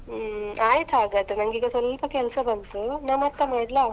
ಹೂಂ. ಆಯ್ತ್ ಹಾಗಾದ್ರೆ ನಂಗೀಗ ಸ್ವಲ್ಪ ಕೆಲ್ಸ ಬಂತು, ನ ಮತ್ತೆ ಮಾಡ್ಲಾ?